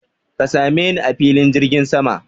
Ka same ni a filin jirgin sama!